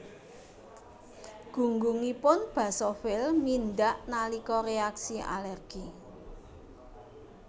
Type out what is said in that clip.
Gunggungipun basofil mindhak nalika reaksi alergi